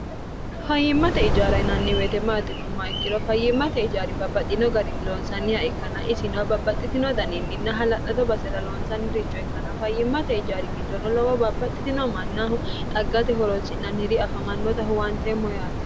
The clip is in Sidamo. fayyimmate ijaara inanni weetemaatinomma ikkiro fayyimmate ijaari babbaxxino garin loonsanniha ikkana isin babbaxxitino daniinninna hala'lado basera loonsanni richo ikkanna fayyimmate ijaari giddono lowo baabbaxxitino mannaaho xaggate horoolsi'nanniri afamannota huwanteemmo yaate